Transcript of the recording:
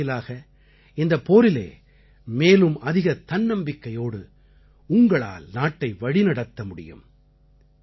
இதன் வாயிலாக இந்தப் போரிலே மேலும் அதிக தன்னம்பிக்கையோடு உங்களால் நாட்டை வழிநடத்த முடியும்